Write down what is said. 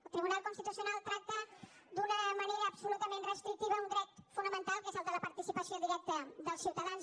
el tribunal constitucional tracta d’una manera absolutament restrictiva un dret fonamental que és el de la participació directa dels ciutadans